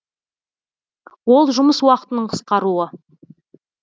ол жұмыс уақытының қысқаруы